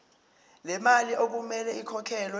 lemali okumele ikhokhelwe